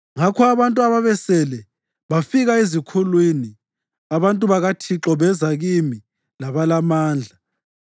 Ngakho abantu ababesele bafika ezikhulwini; abantu bakaThixo beza kimi labalamandla.